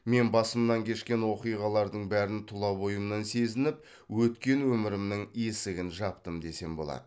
мен басымнан кешкен оқиғалардың бәрін тұла бойыммен сезініп өткен өмірімнің есігін жаптым десем болады